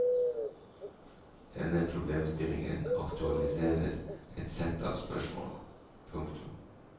Denne problemstillingen aktualiserer et sett av spørsmål. punktum